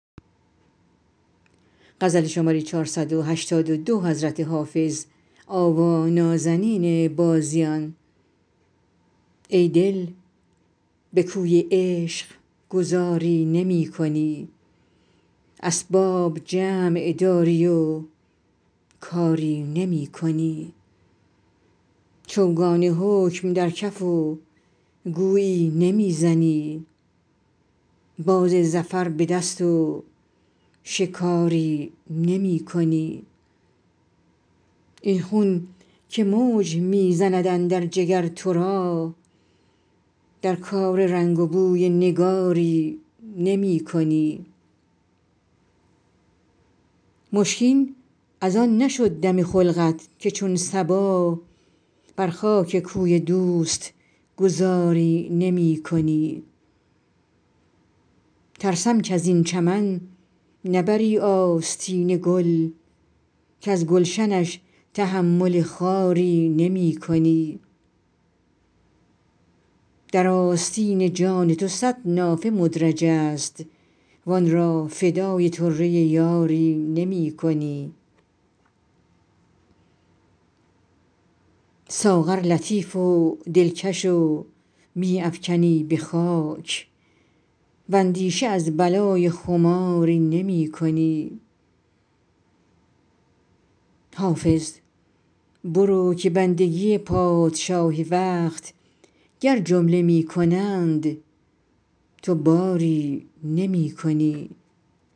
ای دل به کوی عشق گذاری نمی کنی اسباب جمع داری و کاری نمی کنی چوگان حکم در کف و گویی نمی زنی باز ظفر به دست و شکاری نمی کنی این خون که موج می زند اندر جگر تو را در کار رنگ و بوی نگاری نمی کنی مشکین از آن نشد دم خلقت که چون صبا بر خاک کوی دوست گذاری نمی کنی ترسم کز این چمن نبری آستین گل کز گلشنش تحمل خاری نمی کنی در آستین جان تو صد نافه مدرج است وآن را فدای طره یاری نمی کنی ساغر لطیف و دلکش و می افکنی به خاک واندیشه از بلای خماری نمی کنی حافظ برو که بندگی پادشاه وقت گر جمله می کنند تو باری نمی کنی